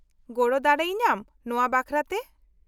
-ᱜᱚᱲᱚ ᱫᱟᱲᱮ ᱤᱧᱟᱹᱢ ᱱᱚᱶᱟ ᱵᱟᱠᱷᱨᱟᱛᱮ ?